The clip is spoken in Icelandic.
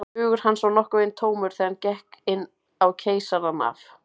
Hugur hans var nokkurn veginn tómur, þegar hann gekk inn á Keisarann af